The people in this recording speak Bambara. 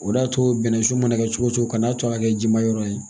O de y'a to bɛnnɛsun mana kɛ cogo o cogo kan'a to ka kɛ ji ma yɔrɔ ye